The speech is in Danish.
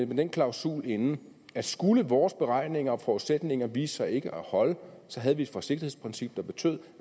med den klausul inde at skulle vores beregninger og forudsætninger vise sig ikke at holde så havde vi et forsigtighedsprincip der betød